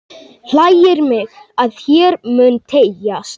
Hlægir mig, að hér mun teygjast